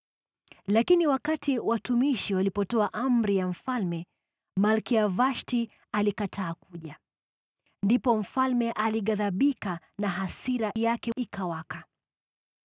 Lakini wakati watumishi walipotoa amri ya mfalme, Malkia Vashti alikataa kuja. Ndipo mfalme alighadhibika, na hasira yake ikawaka.